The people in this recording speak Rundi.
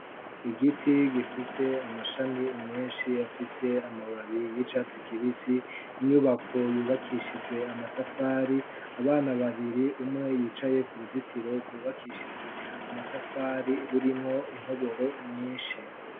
igiti gifise amashami menshi afise amababi y'icatsi kibisi inyubako yubakishije amatafari abana babiri umwe yicaye ku ruzitiro rwubakishijwe amatafari rurimwo intoboro nyinshi